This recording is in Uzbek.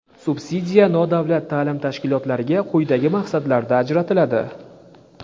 Subsidiya nodavlat ta’lim tashkilotlariga quyidagi maqsadlarda ajratiladi:.